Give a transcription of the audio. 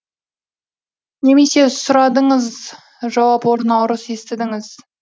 немесе сұрадыңыз жауап орнына ұрыс естідіңіз